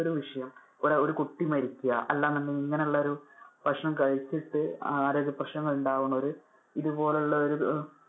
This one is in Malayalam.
ഒരു വിഷയം, ഒ ~ഒരു കുട്ടി മരിക്ക അല്ലാന്ന് ഉണ്ടെങ്കിൽ ഇങ്ങനെ ഉള്ളൊരു ഭക്ഷണം കഴിച്ചിട്ട് ആരോഗ്യ പ്രേശ്നങ്ങൾ ഉണ്ടാവുന്നവര്. ഇതുപോലുള്ളൊരു